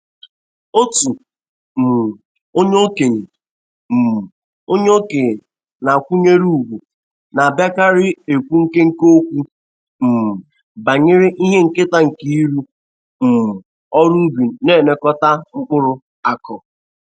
Otu um onye okenye um onye okenye a na-akwanyere ugwu na-abiakarị ekwu nkenke okwu um banyere ihe nketa nke ịrụ um ọrụ ubi na nịekọta mkpụrụ akụụ.